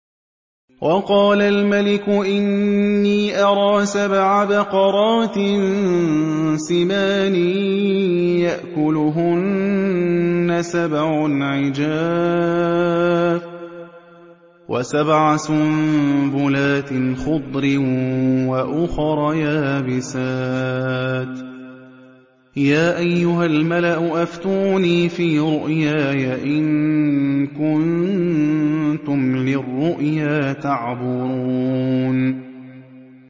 وَقَالَ الْمَلِكُ إِنِّي أَرَىٰ سَبْعَ بَقَرَاتٍ سِمَانٍ يَأْكُلُهُنَّ سَبْعٌ عِجَافٌ وَسَبْعَ سُنبُلَاتٍ خُضْرٍ وَأُخَرَ يَابِسَاتٍ ۖ يَا أَيُّهَا الْمَلَأُ أَفْتُونِي فِي رُؤْيَايَ إِن كُنتُمْ لِلرُّؤْيَا تَعْبُرُونَ